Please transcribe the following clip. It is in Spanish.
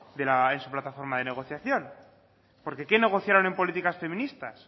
de la en su plataforma de negociación porque qué negociaron en políticas feministas